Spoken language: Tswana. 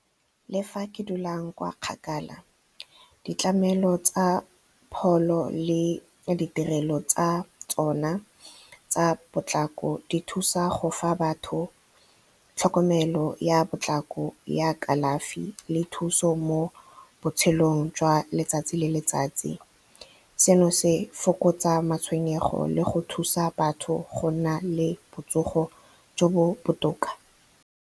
Le fa ke dulang kwa kgakala, ditlamelo tsa pholo le ditirelo tsa tsona tsa potlako di thusa go fa batho tlhokomelo ya potlako ya kalafi le thuso mo botshelong jwa letsatsi le letsatsi seno se fokotsa matshwenyego le go thusa batho go nna le botsogo jo bo botoka.